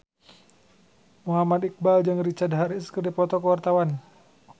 Muhammad Iqbal jeung Richard Harris keur dipoto ku wartawan